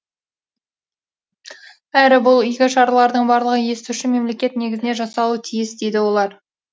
әрі бұл игі шаралардың барлығы естуші мемлекет негізінде жасалуы тиіс дейді олар